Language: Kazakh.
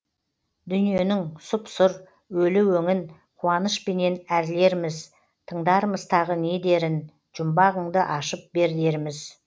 дүниенің сұп сұр өлі өңін қуанышпенен әрлерміз тыңдармыз тағы не дерін жұмбағыңды ашып бер дерміз